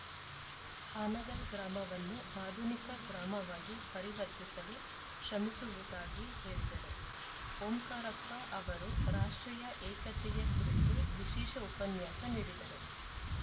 ಹಾನಗಲ್‌ ಗ್ರಾಮವನ್ನು ಆಧುನಿಕ ಗ್ರಾಮವಾಗಿ ಪರಿವರ್ತಿಸಲು ಶ್ರಮಿಸುವುದಾಗಿ ಹೇಳಿದರು ಓಂಕಾರಪ್ಪ ಅವರು ರಾಷ್ಟ್ರೀಯ ಏಕತೆಯ ಕುರಿತು ವಿಶೇಷ ಉಪನ್ಯಾಸ ನೀಡಿದರು